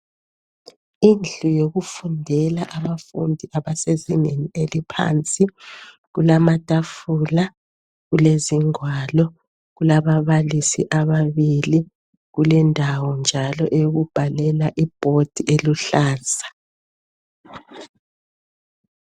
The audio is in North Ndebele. Indlu yokufundela abafundi abasezingeni eliphansi kulamatafula kulezingwalo kulababalisi ababili kulendawo njalo eyokubhalela iboard eluhlaza